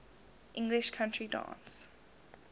english country dance